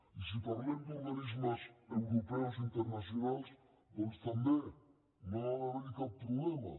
i si parlem d’organismes europeus i internacionals doncs també no ha d’haver hi cap problema